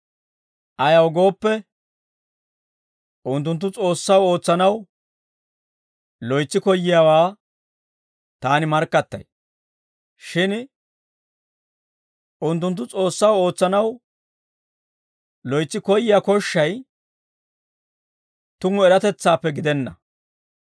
ayaw gooppe, unttunttu S'oossaw ootsanaw loytsi koyyiyaawaa taani markkattay; shin unttunttu S'oossaw ootsanaw loytsi koyyiyaa koshshay tumu eratetsaappe gidenna.